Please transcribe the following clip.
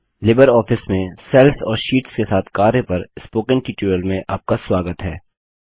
Libre office में cells और sheets के साथ कार्य पर स्पोकन ट्यूटोरियल में आपका स्वागत है